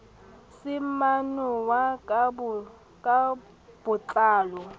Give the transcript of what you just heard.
se manollwa ka bo tlalo